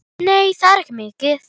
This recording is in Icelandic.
Nei, það er ekki mikið.